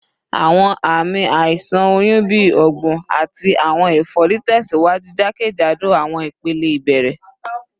Awọn aami aiṣan oyun bi ọgbun ati awọn efori tẹsiwaju jakejado awọn ipele ibẹrẹ